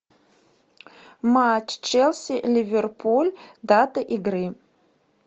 матч челси ливерпуль дата игры